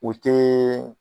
O tɛ